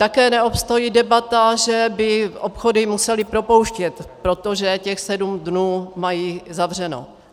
Také neobstojí debata, že by obchody musely propouštět, protože těch sedm dnů mají zavřeno.